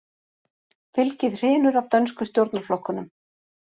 Fylgið hrynur af dönsku stjórnarflokkunum